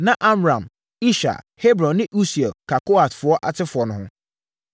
Na Amram, Ishar, Hebron ne Usiel ka Kohat asefoɔ no ho.